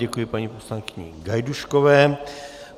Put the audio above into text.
Děkuji paní poslankyni Gajdůškové.